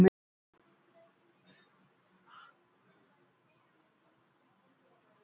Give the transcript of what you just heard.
Eru þeir ekki mestu innviðirnir?